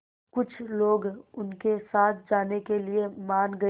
कुछ लोग उनके साथ जाने के लिए मान गए